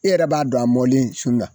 E yɛrɛ b'a dɔn, a mɔlen sun na